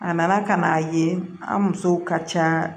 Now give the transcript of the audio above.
A nana ka n'a ye an musow ka ca